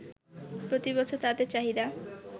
প্রতি বছর তাদের চাহিদা